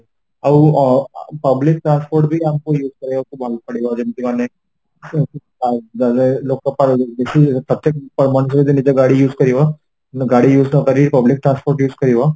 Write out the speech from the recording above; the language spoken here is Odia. ଆଉ ଅ public transport ବି ଆମକୁ use କରିବାକୁ ଭଲ ପଡିବ ଯେମିତି ମାନେ ଲୋକ ବେଶୀ ପ୍ରତେକ ମଣିଷ ଯଦି ନିଜ ଗାଡି use କରିବ ଗାଡି use ନକରି public transport use କରିବ